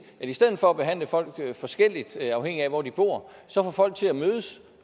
i stedet for at behandle folk forskelligt afhængig af hvor de bor så få folk til at mødes